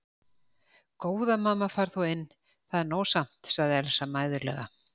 Góða mamma far þú inn, það er nóg samt, sagði Elsa mæðulega.